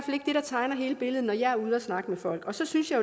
tegner hele billedet når jeg er ude at snakke med folk så synes jeg